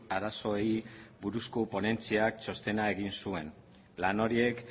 arazoei buruzko ponentziak txostena egin zuen lan horiek